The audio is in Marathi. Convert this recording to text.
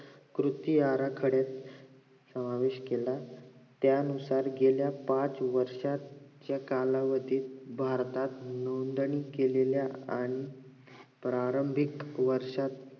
कृती आराखड्यात आवेश केला त्या अनुसार गेल्या पाच वर्षाच्या कालावधीत भारतात योगदान केलेल्या आणि प्रारंभिक वर्षात